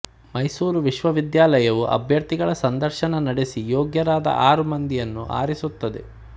ಮೈಸೂರು ವಿಶ್ವವಿದ್ಯಾಲಯವೂ ಅಭ್ಯರ್ಥಿಗಳ ಸಂದರ್ಶನ ನಡೆಸಿ ಯೋಗ್ಯರಾದ ಆರು ಮಂದಿಯನ್ನು ಆರಿಸುತ್ತದೆ